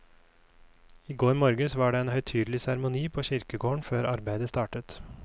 I går morges var det en høytidelig seremoni på kirkegården før arbeidet startet.